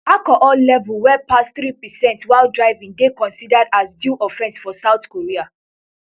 alcohol level wey pass three percent while driving dey considered as dui offense for south korea